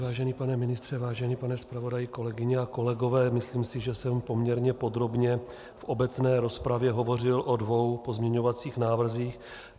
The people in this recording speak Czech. Vážený pane ministře, vážený pane zpravodaji, kolegyně a kolegové, myslím si, že jsem poměrně podrobně v obecné rozpravě hovořil o dvou pozměňovacích návrzích.